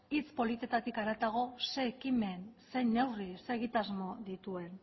hitz politetatik haratago ze ekimen zein neurri ze egitasmo dituen